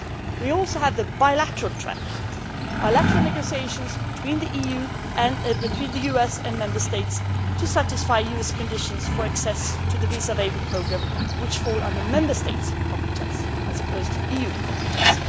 We also had the bilateral track bilateral negotiations between the EU and between the US and Member States to satisfy US conditions for access to the visa waiver programme which fall under the Member States' competence as opposed to EU competence.